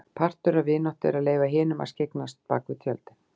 Partur af vináttu er að leyfa hinum að skyggnast bak við tjöldin.